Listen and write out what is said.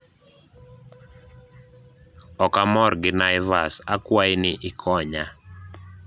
ok amor gi naivas akwayi ni ikonya